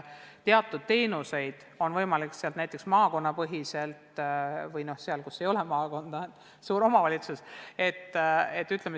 Teatud teenuseid peab olema võimalik osutada ka maakonnapõhiselt või piirkonnapõhiselt.